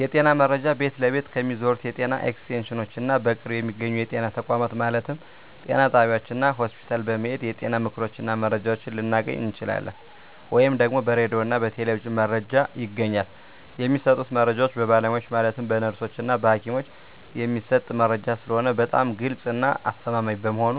የጤና መረጃ ቤት ለቤት ከሚዞሩት የጤና ኤክስቴንሽኖች እና በቅርብ በሚገኙ የጤና ተቋማት ማለትም ጤና ጣቢያዎች እና ሆስፒታል በመሔድ የጤና ምክሮችን እና መረጃዎችን ልናገኝ እንችላለን። ወይም ደግሞ በራዲዮ እና በቴሌቪዥንም መረጃ ይገኛል። የሚሰጡት መረጃዎች በባለሙያዎች ማለትም በነርሶች እና በሀኪሞች የሚሰጥ መረጂ ስለሆነ በጣም ግልፅ እና አስተማማኝ በመሆኑ